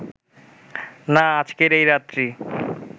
না আজকের এই রাত্রি